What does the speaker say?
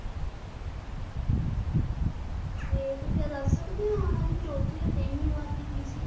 ਤੇ ਤੁਸੀਂ ਇਹ ਦੱਸ ਸਕਦੇ ਓ ਉਹਨਾਂ ਦੀ ਚੌਥੀ ਤੇ ਤੇਈਵੀਂ ਵਾਰ ਦੀ ਕੀ ਸੀ?